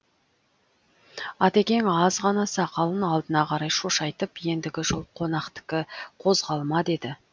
атекең аз ғана сақалын алдына қарай шошайтып ендігі жол қонақтікі қозғалма деді